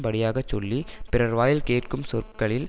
படியாக சொல்லி பிறர் வாயில் கேட்கும் சொற்களில்